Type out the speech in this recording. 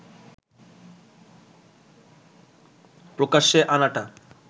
প্রকাশ্যে আনাটা